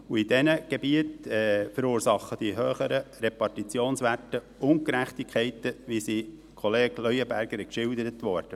In diesen Gebieten verursachen die höheren Repartitionswerte jedoch Ungerechtigkeiten, wie sie von Kollege Leuenberger geschildert wurden.